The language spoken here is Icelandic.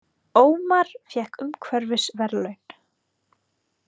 Ómar fékk umhverfisverðlaun